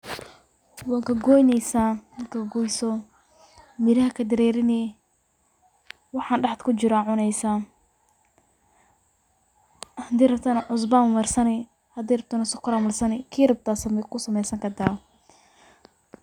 Wad gogoyneysa, markad gogoyso miraha kadareerini, waxan dhaxda kujiro ad cuneysa, hadii rabtona cusba Mar sani hadii rabtona sokora Mar sani, kii rabto aa kasameesani karta